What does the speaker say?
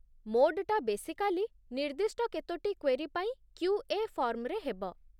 ମୋଡ୍‌ଟା basically, ନିର୍ଦ୍ଦିଷ୍ଟ କେତୋଟି query ପାଇଁ କ୍ୟୁ.ଏ. ଫର୍ମ୍‌ରେ ହେବ ।